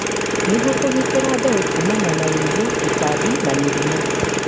nĩguo kũgitĩra mbeũ kũmana wa wĩigũ, tũtambi, na mĩrimũ.